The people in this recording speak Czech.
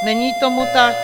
Není tomu tak.